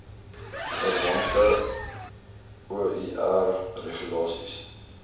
verwante oir regulasies